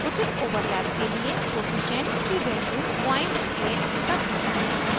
उचित overlap के लिए कोअफिशन्ट की value 08 तक घटायें